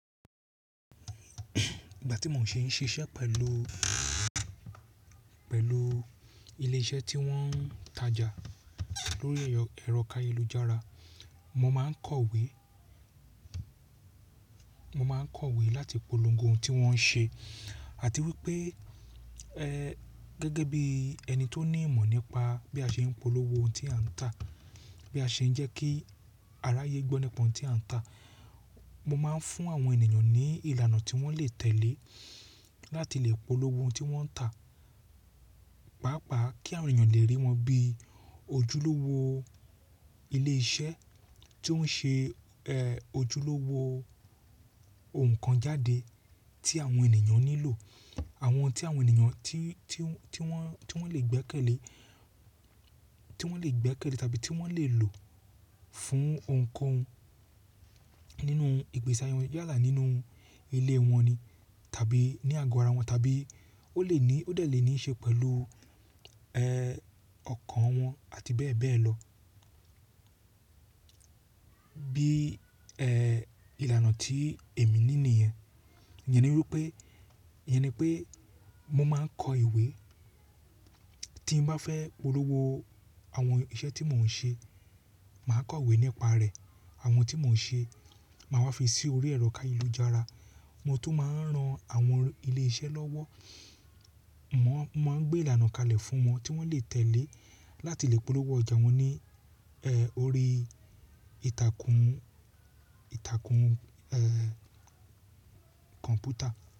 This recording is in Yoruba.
Ìgbà tí mò ń ṣì ń ṣiṣẹ́ pẹ̀lú, pẹ̀lú ilé iṣẹ́ tí wọ́n ń tajà lórí ẹ̀rọ káyélujára, mo máa ń kọ̀wé, mo máa ń kọ̀wé láti polongo ohun tí wọ́n ń ṣe àti wípé ẹ́ gẹ́gẹ́ bí ẹni tó ní ìmọ̀ nípa bí a ṣe ń polówó ohun tí a ń tà, bí a ṣe ń jẹ́ kí aráyé gbọ́ nípa ohun tí a ń tà. Mo máa ń fún àwọn ènìyàn ní ìlànà tí wọ́n lè tẹ̀lé láti lè polówó ohun tí wọ́n ń tà. Pàápàá kí àwọn èèyàn lè rí wọn bí ojúlówó ilé iṣẹ́ tó ń ṣe ẹ ojúlówó ohùn kan jáde tí àwọn ènìyàn nílò, àwọn ohun tí àwọn ènìyàn tí, tí wọ́n, tí wọ́n lè gbẹ́kẹ̀lé, tí wọ́n lè gbẹ́kẹ̀lé tàbí tí wọ́n lè lò fún ohunkohun nínú ìgbésí ayé wọn yálà nínú ilé wọn ni tàbí ní àgọ ara wọn tàbí ó lè ní ó dẹ̀ lè ní í ṣe pẹ̀lú ẹ ọkàn wọn àti bẹ́ẹ̀ bẹ́ẹ̀ lọ. Bí ẹ ìlànà tí èmi ní nìyẹn. Iyẹn ni wípé, iyẹn ni pé mo máa ń kọ ìwé tí n bá fẹ́ polówó àwọn iṣẹ́ tí mò ń ṣe. Màá kọ̀wé nípa rẹ̀, àwọn tí mò ń ṣe, màá wá fi sí orí ẹ̀rọ káyélujára. Mo tún máa ń ran àwọn ilé iṣẹ́ lọ́wọ́. Mo máa ń gbé ìlànà kalẹ̀ fún wọn tí wọ́n lè tẹ̀lé láti lè polówó ọjà wọn ní ẹ orí ìtàkùn, ìtàkùn ẹ kọ̀ǹpútà.